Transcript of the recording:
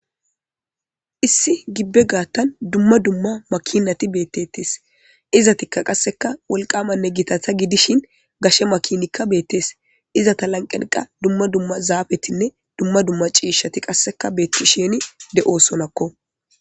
Issi gibbe gaattan dumma dumma makinati beettettes izatikka qasseka wolqamanne gitata gidishin gashe makinikka beettes iza ta lanqeniqa dumma dumma zaafetinne dumma dumma ciishati qasseka beetti sheni de7o sonakko.